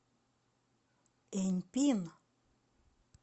эньпин